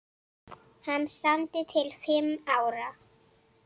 Hann samdi til fimm ára.